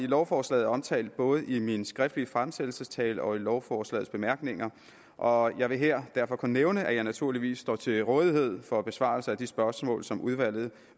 lovforslaget er omtalt både i min skriftlige fremsættelsestale og i lovforslagets bemærkninger og jeg vil her derfor kun nævne at jeg naturligvis står til rådighed for besvarelse af de spørgsmål som udvalget